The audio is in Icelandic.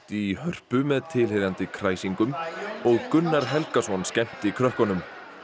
í Hörpu með tilheyrandi kræsingum og Gunnar Helgason skemmti krökkunum